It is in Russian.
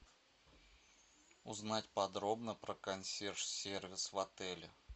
узнать подробно про консьерж сервис в отеле